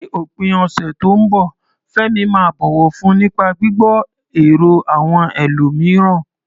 Ní òpin ọ̀sẹ̀ tó ń bọ̀, Fẹ́mi máa bọ̀wọ̀ fún nípa gbígbọ́ èrò àwọn ẹlòmíràn.